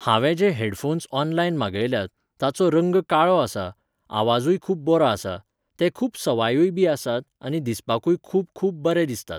हांवें जे headphones online मागयल्यात, तांचो रंग काळो आसा, आवाजूय खूब बरो आसा, ते खूब सवायूयबी आसात आनी दिसपाकूय खूब खूब बरे दिसतात.